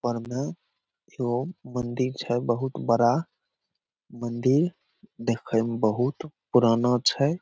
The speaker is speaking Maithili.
ऊपर मे मंदिर छै बहुत बड़ा मंदिर देखय मे बहुत पुराना छै।